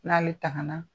N'ale tanga na